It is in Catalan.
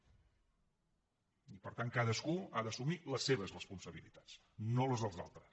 i per tant cadascú ha d’assumir les seves responsabilitats no les dels altres